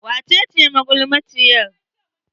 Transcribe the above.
Wace ce magulmaciyar?